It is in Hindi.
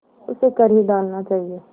उसे कर ही डालना चाहिए